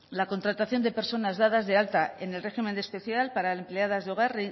la contratación de personas dadas de alta en el régimen especial para empleadas de hogar